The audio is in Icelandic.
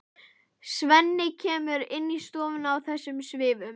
Svenni kemur inn í stofuna í þessum svifum.